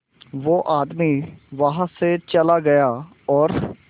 वो आदमी वहां से चला गया और